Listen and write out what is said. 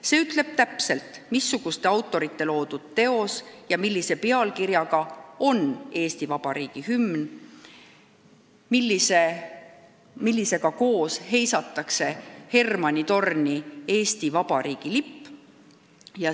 See ütleb täpselt, missuguste autorite loodud teos ja millise pealkirjaga on Eesti Vabariigi hümn, mille saatel heisatakse Pika Hermanni torni Eesti Vabariigi lipp.